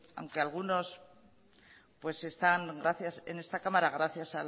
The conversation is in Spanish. aunque algunos están en esta cámara gracias